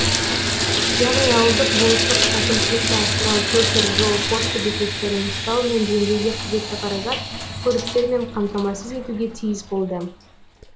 яғни ауылдық болыстық әкімшілікті асырау көпір жол пошта бекеттерін ұстау мен жөндеуге қажетті қаражат көліктермен қамтамасыз етуге тиіс болды